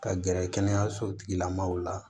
Ka gɛrɛ kɛnɛyaso tigila maaw la